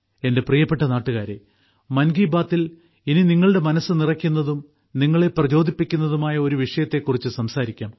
എന്റെ പ്രിയപ്പെട്ട നാട്ടുകാരെ മൻ കി ബാത്തിൽ ഇനി നിങ്ങളുടെ മനസ്സ് നിറയ്ക്കുന്നതും നിങ്ങളെ പ്രചോദിപ്പിക്കുന്നതുമായ ഒരു വിഷയത്തെക്കുറിച്ച് സംസാരിക്കാം